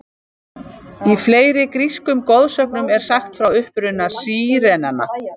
Í fleiri grískum goðsögnum er sagt frá uppruna sírenanna.